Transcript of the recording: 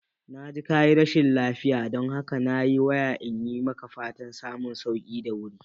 Na ji kayi rashin lafiya, don haka na yi waya iyi maka fatan samun sauki da wuri